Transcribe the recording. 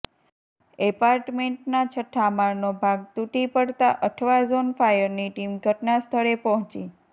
એપાર્ટમેન્ટના છઠ્ઠા માળનો ભાગ તૂટી પડતા અઠવા ઝોન ફાયરની ટીમ ઘટનાસ્થળે પહોંચી